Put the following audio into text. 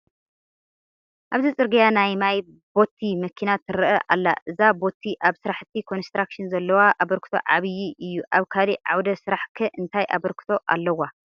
ኣብዚ ፅርጊያ ናይ ማይ ቦቲ መኪና ትርአ ኣላ፡፡ እዛ ቦቲ ኣብ ስራሕቲ ኮንስትራክሽን ዘለዋ ኣበርክቶ ዓብዪ እዩ፡፡ ኣብ ካልእ ዓውደ ስራሕ ከ እንታይ ኣበርክቶ ኣለዋ?